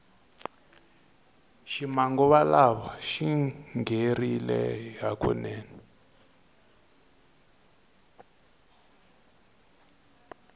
xi manguva lawa xingherile hukunene